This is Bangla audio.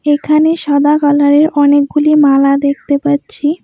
এখানে সাদা কালারে অনেকগুলি মালা দেখতে পাচ্ছি।